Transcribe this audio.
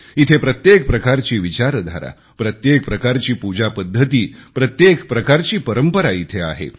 इथे प्रत्येक प्रकारची विचारधारा प्रत्येक प्रकारची पूजापद्धती प्रत्येक प्रकारची परंपरा इथे आहे